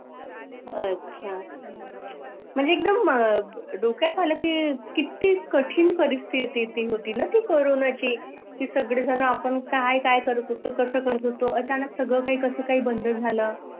अच्छा म्हणजे एकदम डोक्यात आलं की किती कठीण परिस्थिती होती ना ती करुणा ची की सगळे जण आपण काय काय करतो कसा करतो तो अचानक सगळं काही कसं काही बंद झालं.